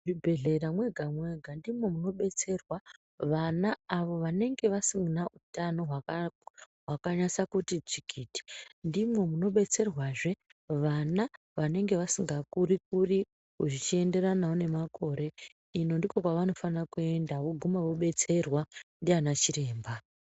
Muchibhehlera mwega mwega ndimwo munobetserwa vana avo vanenge vasina utano hwakanyatsakuti tsvikiti ndimwo munobetserwazve vana vanenge vasinga kuri kuri zvichienderanwo nemakore ino ndiko kwavanofane kuenda voguma vobetserwa ndiana chiremba.